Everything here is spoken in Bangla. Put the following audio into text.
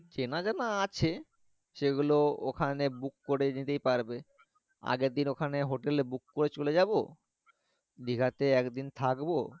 চেনা জানা আছে সেগুলো ওখানে book করে নিতেই পারবে আগের দিন ওখানে hotel book করে চলে যাবো দীঘিতে একদিন থাকবো